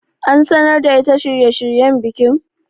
An sanar da ita shirye shiryen bikin?